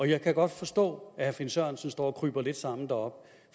jeg kan godt forstå at herre finn sørensen står og kryber lidt sammen deroppe